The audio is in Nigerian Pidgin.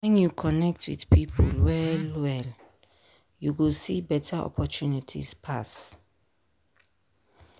when you connect with people well-well you go see better opportunities pass.